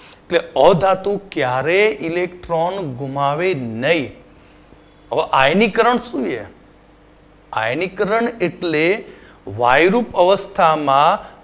કે અધાતુ ક્યારેય electron ઘુમાવે નહીં. અ આયનીકરણ શું છે. આયનીકરણ એટલે વાયરુપ અવસ્થામાં